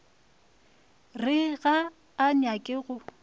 re ga a nyake go